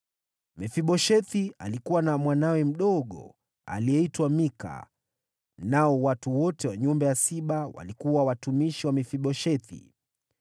Mefiboshethi alikuwa na mwanawe mdogo aliyeitwa Mika, nao watu wote wa nyumba ya Siba walikuwa watumishi wa Mefiboshethi.